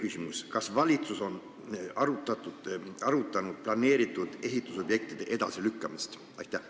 Teiseks, kas valitsus on arutanud planeeritud ehitusobjektide edasilükkamist?